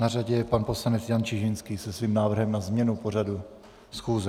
Na řadě je pan poslanec Jan Čižinský se svým návrhem na změnu v pořadu schůze.